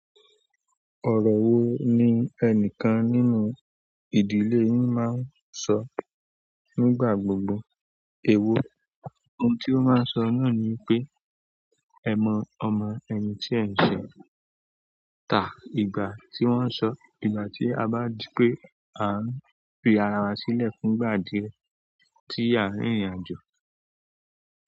Ọ̀rọ̀ wo ni ẹnìkan nínú ìdílé yín máa ń sọ nígbà gbogbo? Èwo, ohun tí ó máa ń sọ náà ni pé, "ẹ mọ ọmọ ẹni tí ẹ ń ṣẹ̀ tá." Ìgbà tí wọ́n ń sọ, ìgbà tí a bá rí pé à ń fi ara wa sílẹ̀ fún ìgbà díẹ̀ tí a ń rìnrìn àjò.